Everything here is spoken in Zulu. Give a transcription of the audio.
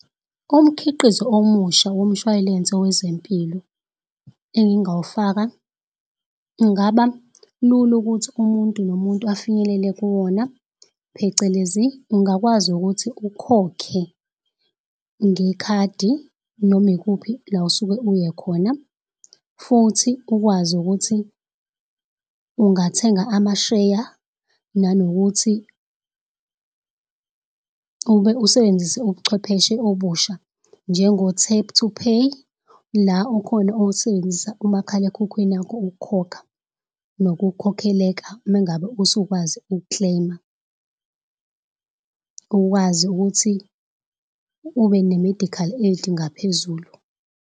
Umkhiqizo omusha womshway'lense wezempilo engingaw'faka ungaba lula ukuthi umuntu nomuntu afinyelele kuwona. Phecelezi ungakwazi ukuthi ukhokhe ngekhadi noma ikuphi la osuke uye khona. Futhi ukwazi ukuthi ungathenga amasheya nanokuthi ube usebenzise ubuchwepheshe obusha njengo-tap-to-pay la okhona osebenzisa umakhalekhukhwini wakho ukukhokha nokukhokhela mengabe usukwazi uku-claim-a. Ukwazi ukuthi ubene-medical aid ngaphezulu.